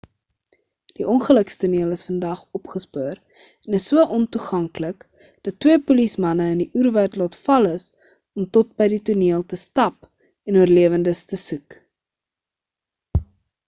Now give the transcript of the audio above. die ongelukstoneel is vandag opgespoor en is so ontoeganklik dat twee polisiemanne in die oerwoud laat val is om tot by die toneel te stap en oorlewendes te soek